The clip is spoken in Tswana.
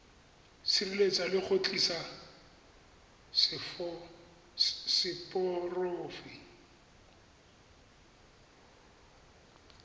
sireletsa le go tiisa seporofe